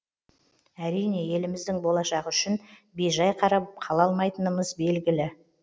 әрине еліміздің болашағы үшін бейжай қарап қала алмайтынымыз белгілі